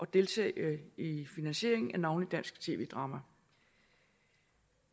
deltage i finansieringen af navnlig dansk tv drama